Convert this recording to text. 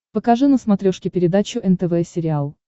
покажи на смотрешке передачу нтв сериал